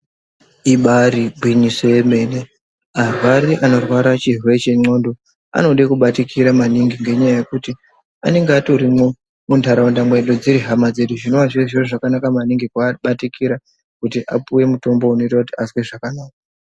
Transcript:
Ibari gwinyiso yemene, arwari anorwara chirwere chendxondo vanoda kubatikira maningi ngendaa yekuti anenge vatorimwo muntaraunda mwedu dziri hama dzedu. Zvinenge zviri zviro zvakanaka maningi kubatikira kuti vapuwe mutombo inoita kuti azwe zvakanaka.